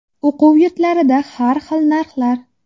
O‘quv yurtlarida har xil narxlar.